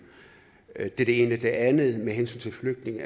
er det ene til det andet med flygtninge